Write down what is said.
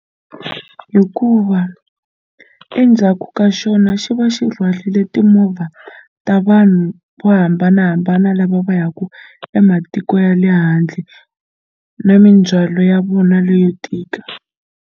Hikuva endzhaku ka xona xi va xi rhwalile timovha ta vanhu vo hambanahambana lava va yaka ematiko ya le handle na mindzwalo ya vona leyo tika.